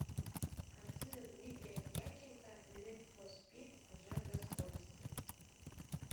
картина дмитрия дьяченко нид фор спид жажда скорости